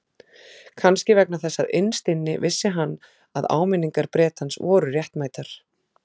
Kannski vegna þess að innst inni vissi hann að áminningar Bretans voru réttmætar.